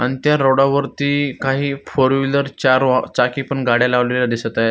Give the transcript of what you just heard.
अन त्या रोड वरती काही फोरव्हिलर च्यारो अ चाकी पण गाड्या लावल्याला दिसत आहे.